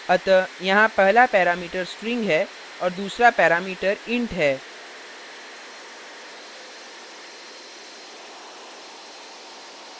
अतः यहाँ पहला parameter string है और दूसरा parameter int है